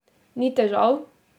Ni težav?